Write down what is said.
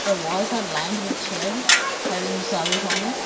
the walls are lined with shelves having sarees on it.